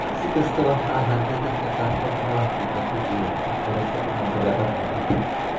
Si kastaba ha ahaatee, dadka qaarkood ma laha dhibaato jireed, waxbarasho, ama dabeecad muuqata.